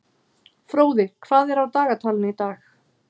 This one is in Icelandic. Fróði, hvað er á dagatalinu í dag?